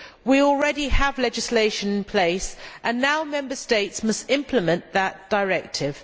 We already have legislation in place and now Member States must implement that directive.